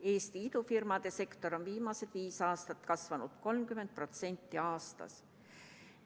Eesti idufirmade sektor on viimased viis aastat kasvanud 30% aastas.